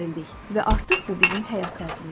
Və artıq bu bizim həyat tərzimizdir.